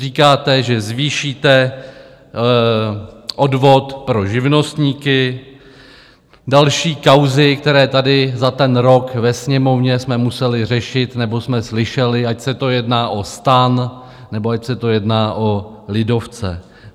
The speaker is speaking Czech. Říkáte, že zvýšíte odvod pro živnostníky, další kauzy, které tady za ten rok ve Sněmovně jsme museli řešit nebo jsme slyšeli, ať se to jedná o STAN, nebo ať se to jedná o lidovce.